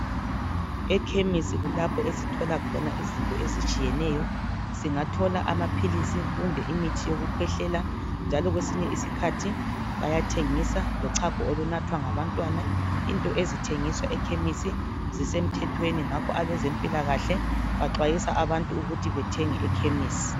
Ekhemisi kulapho esithola khona izinto ezitshiyeneyo singathola amaphilisi kumbe imithi yokukwehlela njalo kwesinye isikhathi bayathengisa lochago olunathwa ngabantwana into ezithengiswa ekhemisi zisemthethweni ngakho abezempilakahle baxwayisa abantu ukuthi bethenge ekhemisi